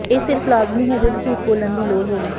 ਇਹ ਸਿਰਫ਼ ਲਾਜ਼ਮੀ ਹੈ ਜਦੋਂ ਝੂਠ ਬੋਲਣ ਦੀ ਲੋੜ ਹੋਵੇ